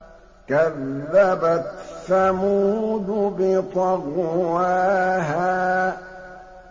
كَذَّبَتْ ثَمُودُ بِطَغْوَاهَا